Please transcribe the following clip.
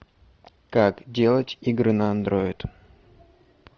как делать игры на андроид